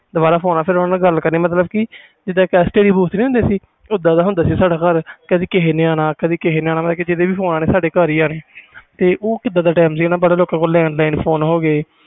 ਦੁਬਾਰਾ phone ਆਣਾ ਫਿਰ ਗੱਲ ਕਰਨੀ ਜਿਵੇ STD ਹੁੰਦੇ ਸੀ ਓਹਦਾ ਦਾ ਹੁੰਦਾ ਸੀ ਸਾਡਾ ਘਰ ਕਦੇ ਨੇ ਕਿਸੇ ਨੇ ਆਣਾ ਕਦੇ ਕਿਸੇ ਨੇ ਮਤਬਲ ਜੀਦਾ ਫੋਨ ਆਣਾ ਸਾਡੇ ਘਰ ਹੀ ਆਣਾ ਉਹ ਕੀਦਾ ਦਾ time ਸੀ ਫਿਰ ਲੋਕਾਂ ਤੋਂ landline ਫੋਨ ਹੋ ਗੇ